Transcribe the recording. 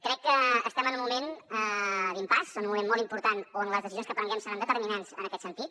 crec que estem en un moment d’impàs en un moment molt important on les decisions que prenguem seran determinants en aquest sentit